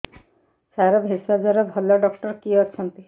ସାର ଭେଷଜର ଭଲ ଡକ୍ଟର କିଏ ଅଛନ୍ତି